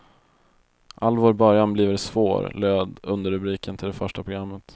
All vår början bliver svår, löd underrubriken till det första programmet.